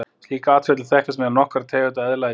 Slíkt atferli þekkist meðal nokkurra tegunda eðla í dag.